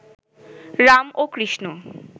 রাম ও কৃষ্ণ